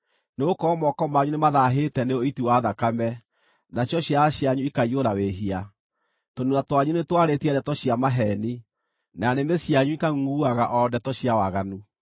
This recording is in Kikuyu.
Nĩgũkorwo moko manyu nĩmathaahĩte nĩ ũiti wa thakame, nacio ciara cianyu ikaiyũra wĩhia. Tũnua twanyu nĩtwarĩtie ndeto cia maheeni, na nĩmĩ cianyu ikangʼungʼuaga o ndeto cia waganu.